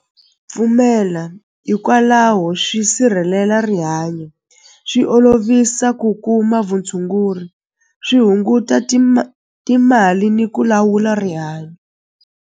Pfumela hikwalaho swi sirhelela rihanyo swi olovisa ku kuma vutshunguri swi hunguta timali ni ku lawula rihanyo.